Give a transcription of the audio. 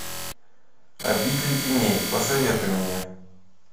обитель теней посоветуй мне